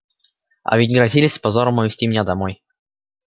а ведь грозились с позором увезти меня домой